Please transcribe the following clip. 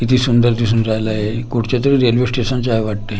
किती सुंदर दिसून राहिलंय? कुठच्या तरी रेल्वे स्टेशनच आहे वाटतंय.